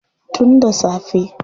Tun da safe.